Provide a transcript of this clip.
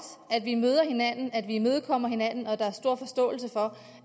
at vi møder hinanden at vi imødekommer hinanden og at der er stor forståelse for